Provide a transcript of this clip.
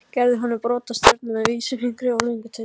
Gerði honum brot úr stjörnu með vísifingri og löngutöng.